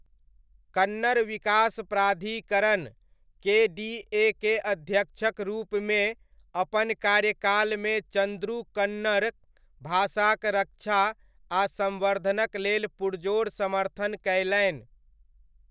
कन्नड़ विकास प्राधिकरण, केडीए के अध्यक्षक रूपमे, अपन कार्यकालमे चन्द्रू कन्नड़ भाषाक रक्षा आ सम्वर्धनक लेल पुरजोर समर्थन कयलनि।